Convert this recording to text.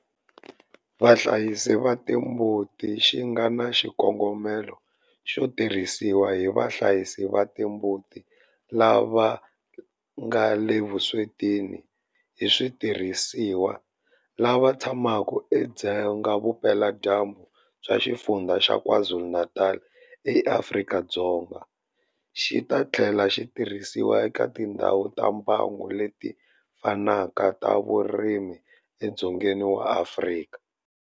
Vahlayisi va timbuti xi nga na xikongomelo xo tirhisiwa hi vahlayisi va timbuti lava nga le vuswetini hi switirhisiwa lava tshamaka edzonga vupeladyambu bya Xifundzha xa KwaZulu-Natal eAfrika-Dzonga, xi ta tlhela xi tirhisiwa eka tindhawu ta mbango leti fanaka ta vurimi edzongeni wa Afrika.